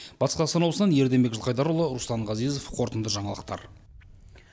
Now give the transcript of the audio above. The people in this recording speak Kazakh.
батыс қазақстан облысынан ерденбек жылқайдарұлы руслан ғазезов қорытынды жаңалықтар